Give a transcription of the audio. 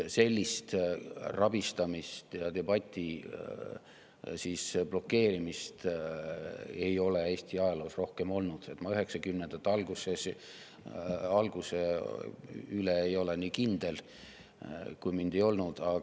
Sellist rabistamist ja debati blokeerimist ei ole Eesti ajaloos rohkem olnud, kuigi ma 90-ndate alguse puhul nii kindel ei ole, siis mind ei olnud siin.